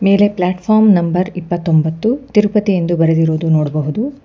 ಮೇಲೆ platform number ಇಪ್ಪತ್ತೊಂಬತ್ತು ತಿರುಪತಿ ಎಂದು ಬರೆದಿರುವುದು ನೋಡ್ಬಹುದು.